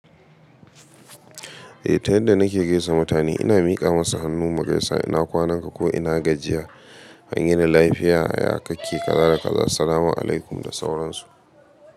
Eh, ta yadda na ke gaisa mutane ina mika musu hannu mu gaisa, ina kwanan ka ko ina gajiya? An yini lafiya, ya kake kaza da kaza, sallama alaikum da sauransu.